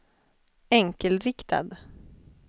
enkelriktad